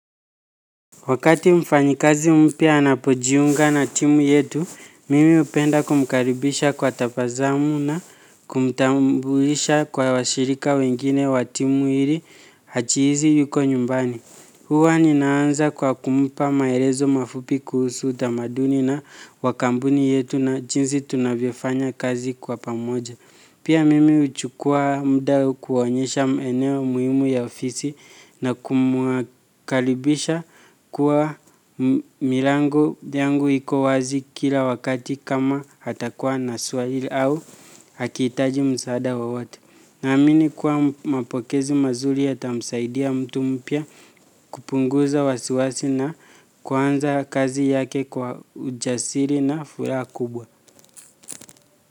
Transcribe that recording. Wakati mfanyikazi mpya anapojiunga na timu yetu, mimi hupenda kumkaribisha kwa tabasamu na kumtambuisha kwa washirika wengine wa timu ili ajihisi yuko nyumbani. Huwa ninaanza kwa kumpa maelezo mafupi kuhusu utamaduni na wa kampuni yetu na jinsi tunavyofanya kazi kwa pamoja. Pia mimi huchukua muda kuonyesha eneo muhimu ya ofisi na kumkaribisha kuwa milangu yangu iko wazi kila wakati kama atakuwa na swali au akihitaji msaada wowote. Naamini kuwa mapokezi mazuri yatamsaidia mtu mpya kupunguza wasiwasi na kuanza kazi yake kwa ujasiri na furaha kubwa.